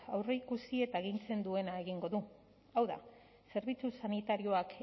aurreikusi eta agintzen duena egingo du hau da zerbitzu sanitarioak